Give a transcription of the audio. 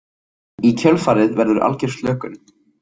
Í kjölfarið verður algjör slökun.